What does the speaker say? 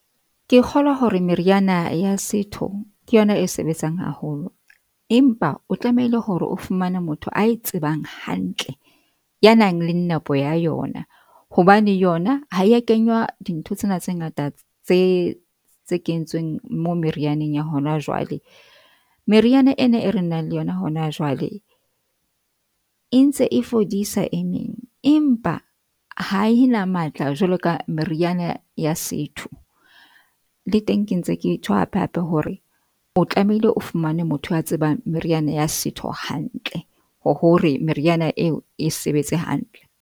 Ke kgolwa hore meriana ya setho. Ke yona e sebetsang haholo, empa o tlamehile hore o fumane motho a e tsebang hantle, ya nang le nepo ya yona, hobane yona ha ya kenywa dintho tsena tse ngata tse tse kentsweng mo merianeng ya hona jwale. Meriana ena e re nang le yona hona jwale e ntse e fodisa e meng, empa ha e na matla jwalo ka meriana ya setho. Le teng ke ntse ke tjho hape hape hore o tlamehile o fumane motho a tsebang meriana ya setho hantle ho hore meriana eo e sebetse hantle.